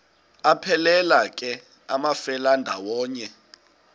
aphelela ke amafelandawonye